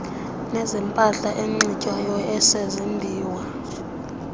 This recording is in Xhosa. nezempahla enxitywayo ezezimbiwa